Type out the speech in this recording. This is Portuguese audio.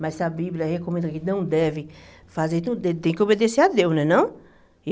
Mas se a Bíblia recomenda que não deve fazer tudo, tem que obedecer a Deus, não é não?